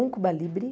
Um cuba libre.